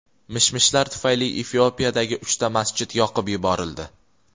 Mish-mishlar tufayli Efiopiyadagi uchta masjid yoqib yuborildi.